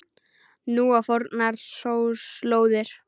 Nú á fornar slóðir.